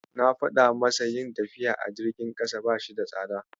Na faɗa masa yin tafiya a jirgin ƙasa bashi da tsada.